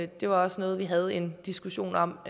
det var også noget vi havde en diskussion om